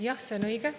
Jah, see on õige.